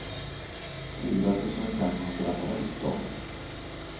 fyra tusen femhundratretton